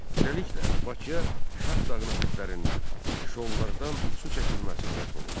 Beləliklə, Bakıya Şahdağ ətəklərindən, şollardan su çəkilməsi qət olundu.